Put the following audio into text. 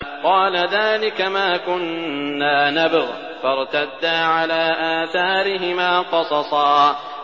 قَالَ ذَٰلِكَ مَا كُنَّا نَبْغِ ۚ فَارْتَدَّا عَلَىٰ آثَارِهِمَا قَصَصًا